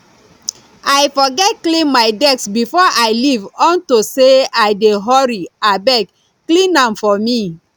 i forget clean my desk before i leave unto say i dey hurry abeg clean am for me